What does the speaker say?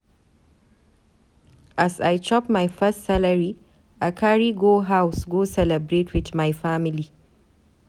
As I chop my first salary, I carry go house go celebrate with my family.